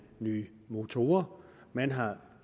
nye motorer man har